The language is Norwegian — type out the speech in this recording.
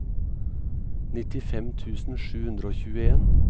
nittifem tusen sju hundre og tjueen